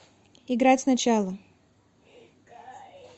играть сначала